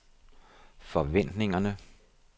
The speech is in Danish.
forventningerne